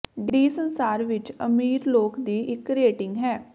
D ਸੰਸਾਰ ਵਿੱਚ ਅਮੀਰ ਲੋਕ ਦੀ ਇੱਕ ਰੇਟਿੰਗ ਹੈ